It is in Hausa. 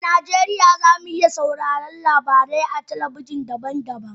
A Najeriya, za mu iya sauraron labarai a gidajen talabijin daban-daban